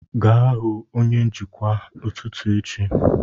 Gaa hụ onye njikwa n'ụtụtụ echi